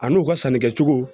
Ani u ka sannikɛcogo